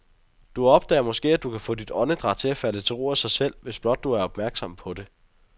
Du opdager måske, at du kan få dit åndedræt til at falde til ro af sig selv, hvis blot du er opmærksom på det.